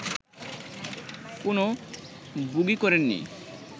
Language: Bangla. কোনো বোগি করেননি